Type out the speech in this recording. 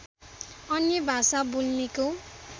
अन्य भाषा बोल्नेको